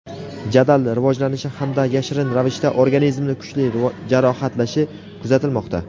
jadal rivojlanishi hamda yashirin ravishda organizmni kuchli jarohatlashi kuzatilmoqda.